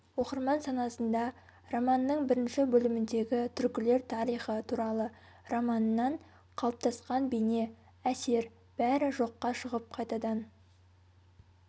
оқырман санасында романның бірінші бөліміндегі түркілер тарихы туралы романынан қалыптасқан бейне әсер бәрі жоққа шығып қайтадан